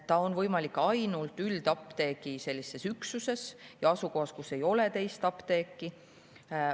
See on võimalik ainult üldapteegi üksuses ja asukohas, kus ei ole teist apteeki.